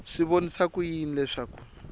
swi vonisa ku yini leswaku